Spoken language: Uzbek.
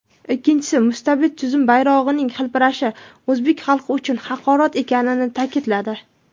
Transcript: ikkinchisi mustabid tuzum bayrog‘ining hilpirashi o‘zbek xalqi uchun haqorat ekanini ta’kidladi.